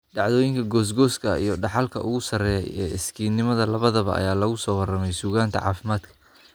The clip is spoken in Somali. Dhacdooyinka goosgooska ah iyo dhaxalka ugu sarreeya ee iskiisnimada labadaba ayaa lagu soo warramey suugaanta caafimaadka.